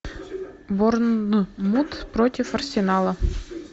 борнмут против арсенала